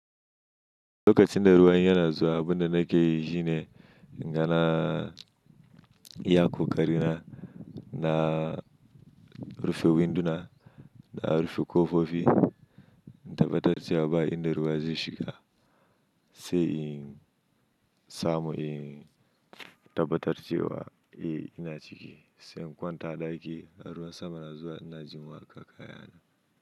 Lokacin da ruwan yana zuwa abin da nake yi shine, ingana iyaƙo ƙarina na rufe winduna da rufe ƙofofi, in tabbatar cewa ba inda ruwa zai shiga. Sai in samu, in tabbatar cewa eh ina ciki, sai in kwanta a ɗaki, ruwan sama na zuwa ina jin waƙa kaya na.